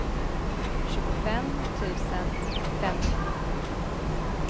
tjugofem tusen femtiosju